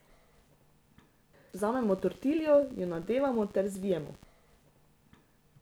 Vzamemo tortiljo, jo nadevamo ter zvijemo.